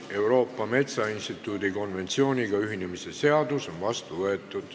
Euroopa Metsainstituudi konventsiooniga ühinemise seadus on vastu võetud.